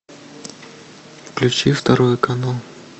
включи второй канал